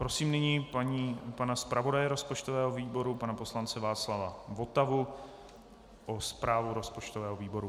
Prosím nyní pana zpravodaje rozpočtového výboru, pana poslance Václava Votavu, o zprávu rozpočtového výboru.